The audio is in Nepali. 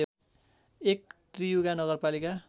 एक त्रियुगा नगरपालिका